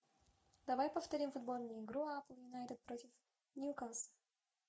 давай повторим футбольную игру апл юнайтед против ньюкасл